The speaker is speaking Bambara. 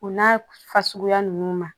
O n'a fasuguya ninnu ma